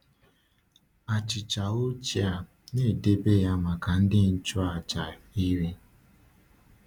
Achịcha ochie a na-edebe ya maka ndị nchụaja iri.